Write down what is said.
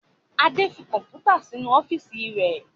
Adé tí Kọ̀npútà síí inú ọ́fíìsì rẹ̀